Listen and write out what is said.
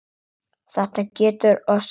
Þetta getur orsakað mikla þreytu.